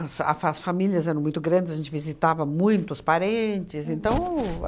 A fa a as famílias eram muito grandes, a gente visita muitos parentes, então